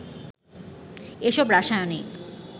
এসব রাসায়নিক